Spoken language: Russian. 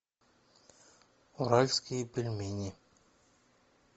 уральские пельмени